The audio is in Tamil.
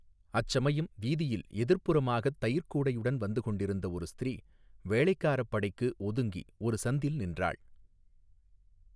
அச்சமயம் வீதியில் எதிர்ப்புறமாகத் தயிர்க் கூடையுடன் வந்து கொண்டிருந்த ஒரு ஸ்திரீ வேளைக்காரப் படைக்கு ஒதுங்கி ஒரு சந்தில் நின்றாள்.